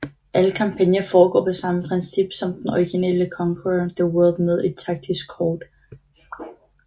Alle kampagner foregår på samme princip som den originale Conquer the World med et taktisk kort